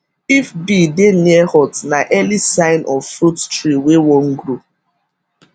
if bee dey near hut na early sign of fruit tree wey wan grow